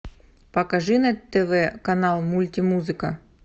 покажи на тв канал мульти музыка